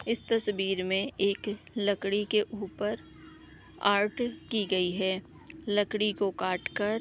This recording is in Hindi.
इस तस्वीर मे एक अ लकड़ी के ऊपर आर्ट की गयी है। लकड़ी को काट कर--